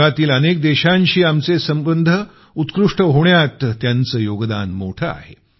जगातील अनेक देशांशी आमचे उत्कृष्ट संबंध होण्यात त्याचं योगदान मोठं आहे